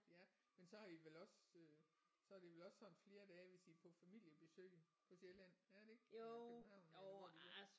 Ja men så har I vel også øh så er det vel også sådan flere dage hvis I på familiebesøg på Sjælland er det ikke eller København eller hvor det er